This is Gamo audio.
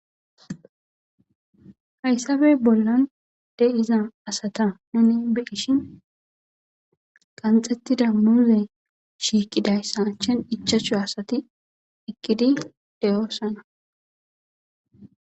Hayssappe bollan de7iza asata tani be7ishshin qanxetida muuzee shiiqizayta achchan ichachchu asati eqidi de7osona.